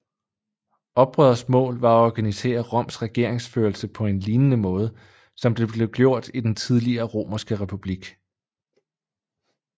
Oprørets mål var at organisere Roms regeringsførelse på en lignende måde som det blev gjort i den tidligere Romerske republik